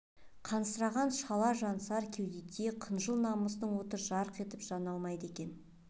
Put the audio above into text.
қансыраған шала жансар кеудеде қыжыл намыстың оты жарқ етіп жана алмайды екен